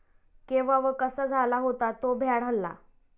केव्हा व कसा झाला होता तो भ्याड हल्ला?